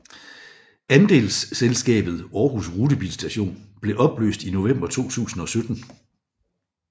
Andelsselskabet Aarhus rutebilstation blev opløst i november 2017